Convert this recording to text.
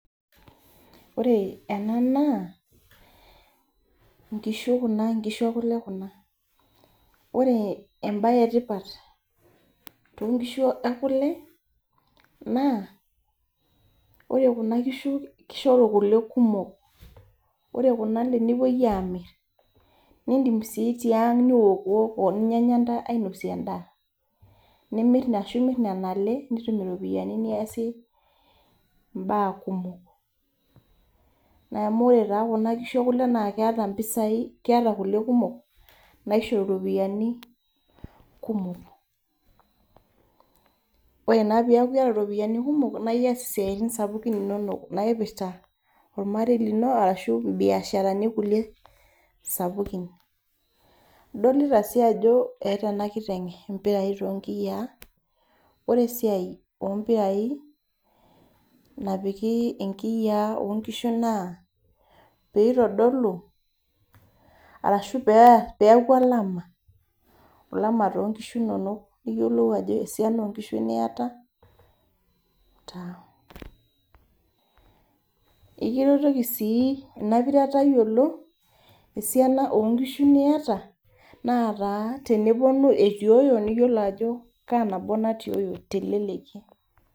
Ore ena naa, nkishu kuna nkishu ekule kuna. Ore ebae etipat tonkishu ekule naa, ore kuna kishu kishoru kule kumok. Ore luna ale nepoi amir. Nidim si tiang' niokiwoko ninyanya ntae ainosie endaa. Ashu mir nena ale nitum iropiyiani niasie imbaa kumok. Amu ore taa kuna kishu ekule naa keeta mpisai, keeta kule kumok naishoru ropiyiani kumok. Ore naa peku iyata ropiyiani kumok, na iyas isiaitin sapukin inonok naipirta ormarei lino ashu ibiasharani kulie sapukin. Adolita si ajo eeta enakiteng impirai tonkiyiaa. Ore esiai ompirai, napiki inkiyiaa onkishu naa, pitodolu arashu peku alama. Alama tonkishu inonok niyiolou ajo esiana onkishu niata, taa. Ekiretoki si inapira tayiolo, esiana onkishu niata, nataa teneponu itioyo, niyiolo ajo kaa nabo natioyo teleleki.